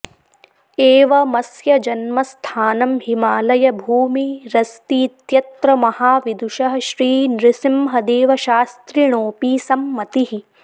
एव मस्य जन्मस्थानं हिमालयभूमि रस्तीत्यत्र महाविदुषः श्रीनृसिंहदेवशास्त्रिणोऽपि सम्मतिः